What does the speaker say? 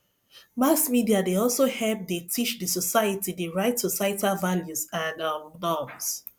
mass media dey also help dey teach the society the right societal values and um norms